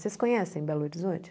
Vocês conhecem Belo Horizonte?